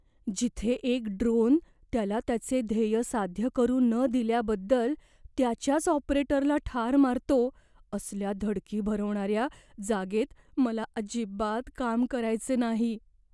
जिथे एक ड्रोन त्याला त्याचे ध्येय साध्य करू न दिल्याबद्दल त्याच्याच ऑपरेटरला ठार मारतो, असल्या धडकी भरवणाऱ्या जागेत मला अजिबात काम करायचे नाही.